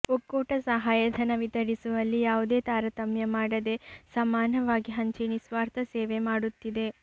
ಒಕ್ಕೂಟ ಸಹಾಯಧನ ವಿತರಿಸುವಲ್ಲಿ ಯಾವುದೇ ತಾರತಮ್ಯ ಮಾಡದೆ ಸಮಾನವಾಗಿ ಹಂಚಿ ನಿಸ್ವಾರ್ಥ ಸೇವೆ ಮಾಡುತ್ತಿದೆ